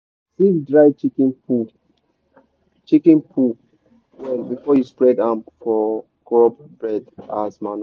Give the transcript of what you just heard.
sieve dry chicken poo chicken poo well before you spread am for crop bed as manure.